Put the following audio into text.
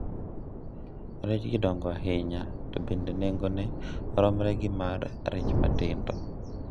rejgi dongo ahinya, to bende nengone romre gi mar rech matindo